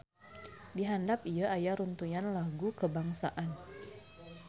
Di handap ieu aya runtuyan lagu kebangsaan